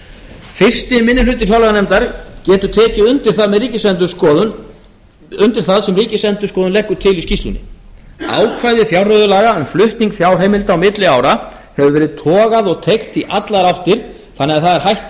fyrsti minni hluti fjárlaganefndar getur tekið undir það sem ríkisendurskoðun leggur til í skýrslunni ákvæði fjárreiðulaga um flutning fjárheimilda á milli ára hefur verið togað og teygt í allar áttir þannig að það er hætt að